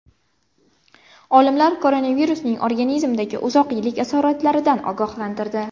Olimlar koronavirusning organizmdagi uzoq yillik asoratlaridan ogohlantirdi.